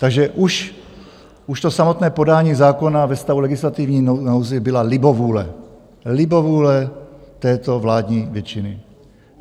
Takže už to samotné podání zákona ve stavu legislativní nouze byla libovůle, libovůle této vládní většiny.